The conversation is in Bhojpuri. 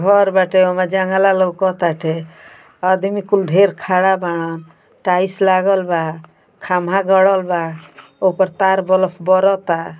घर बाटे। ओमे जंगला लउकताटे। आदमी कुल ढ़ेर खड़ा बाड़न। टाइल्स लागल बा। खंभा गड़ल बा। ओकर तार बलफ बरता।